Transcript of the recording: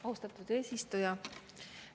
Austatud eesistuja!